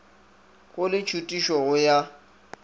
go le tšhutišo go ya